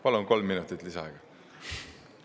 Palun, kolm minutit lisaaega.